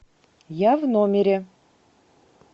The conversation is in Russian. я в номере